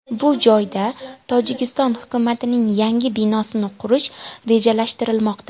Bu joyda Tojikiston hukumatining yangi binosini qurish rejalashtirilmoqda.